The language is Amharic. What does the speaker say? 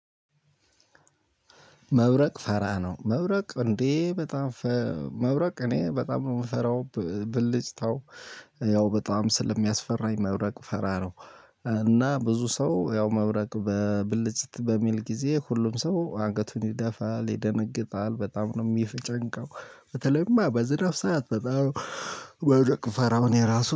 መብረቅ ፋራ ነው መብረቅ እንዴ በጣም መብረቅ እኔ በጣም ነው የምፈራው ብልጭታው። ያው በጣም ስለሚያስፈራኝ መብረቅ ፈራለሁ። እና ብዙ ሰው ያው መብረቅ በብልጭት በሚል ጊዜ ሁሉም ሰው አገቱን ይደፋል ይደነግጣል በጣም ነው የሚፈጨንቀው። በተለይማ በዝነት ሰዓት በጣም በውድቅ ፈራውን የራሱ